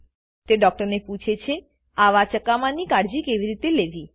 તે ડૉક્ટર પૂછે છે આવા ચકામાની કાળજી કેવી રીતે લેવી